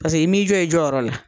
Pase i m'i jɔ i jɔyɔrɔ la.